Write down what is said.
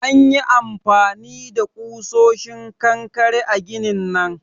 An yi amfani da kusoshin kankare a ginin nan